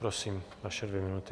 Prosím, vaše dvě minuty.